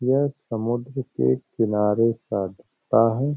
यह समुद्र के किनारे हैं।